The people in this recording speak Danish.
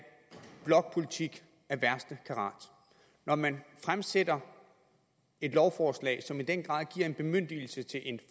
blokpolitik af værste karat når man fremsætter et lovforslag som i den grad giver en bemyndigelse til en